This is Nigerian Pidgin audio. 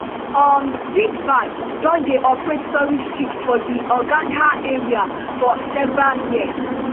um sindbad don dey operate tourist trips for di hurghada area for several years